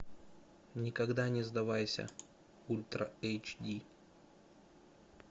никогда не сдавайся ультра эйч ди